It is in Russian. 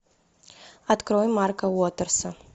открой марка уотерса